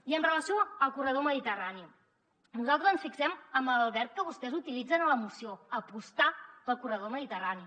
i amb relació al corredor mediterrani nosaltres ens fixem en el verb que vostès utilitzen en la moció apostar pel corredor mediterrani